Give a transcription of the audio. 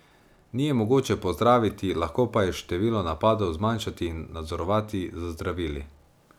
Ni je mogoče pozdraviti, lahko pa je število napadov zmanjšati in nadzorovati z zdravili.